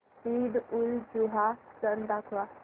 ईदउलजुहा सण दाखव